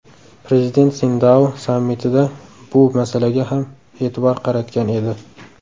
Prezident Sindao sammitida bu masalaga ham e’tibor qaratgan edi.